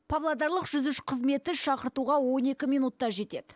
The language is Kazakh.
павлодарлық жүз үш қызметті шақыртуға он екі минутта жетеді